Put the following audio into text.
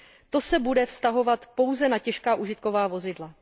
To se bude vztahovat pouze na těžká užitková vozidla.